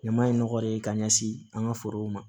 Ɲama ye nɔgɔ de ye ka ɲɛsin an ka forow ma